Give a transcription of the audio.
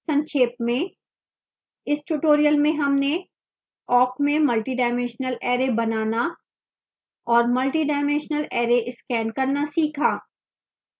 संक्षेप में इस tutorial में हमने awk में multidimensional array बनाना और multidimensional array स्कैन करना सीखा